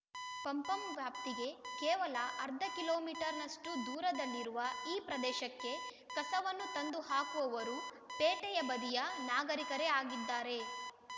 ಪಂ ಪಂ ವ್ಯಾಪ್ತಿಗೆ ಕೇವಲ ಅರ್ಧ ಕಿಲೋ ಮೀಟರ್ ನಷ್ಟುದೂರದಲ್ಲಿರುವ ಈ ಪ್ರದೇಶಕ್ಕೆ ಕಸವನ್ನು ತಂದು ಹಾಕುವವರೂ ಪೇಟೆಯ ಬದಿಯ ನಾಗರಿಕರೇ ಆಗಿದ್ದಾರೆ